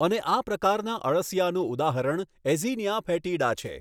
અને આ પ્રકારના અળસિયાનું ઉદાહરણ એઝિનીયા ફેટીડા છે.